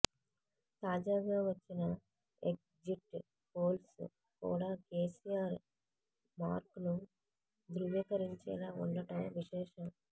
తాజాగా వచ్చిన exit polls కూడా కేసీఆర్ మార్క్ను ధృవీకరించేలా ఉండటం విశేషం